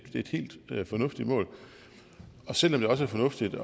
et helt fornuftigt mål og selv om det også er fornuftigt